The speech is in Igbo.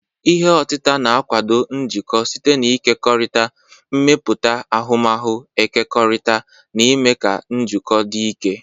Ihe otita na- akwado njikọ site n'ịkekọrịta, ịmepụta ahụmahu ekekọrịtara, na ime ka njikọ dị ike.